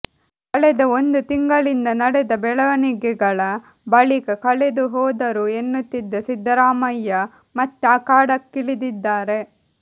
ಕಳೆದ ಒಂದು ತಿಂಗಳಿಂದ ನಡೆದ ಬೆಳವಣಿಗೆಗಳ ಬಳಿಕ ಕಳೆದು ಹೋದರೂ ಎನ್ನುತ್ತಿದ್ದ ಸಿದ್ದರಾಮಯ್ಯ ಮತ್ತೆ ಅಖಾಡಕ್ಕಿಳಿದಿದ್ದಾರೆ